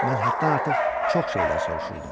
Mən həddən artıq çox şeylər soruşurdum.